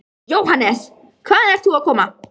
Jóhannes: Hvaðan ert þú að koma?